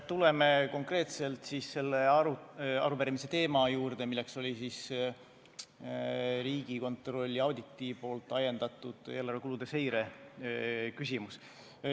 Tuleme konkreetselt siis selle arupärimise teema juurde, mis oli Riigikontrolli auditist ajendatud eelarve kulude seire küsimus.